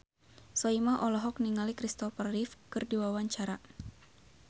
Soimah olohok ningali Kristopher Reeve keur diwawancara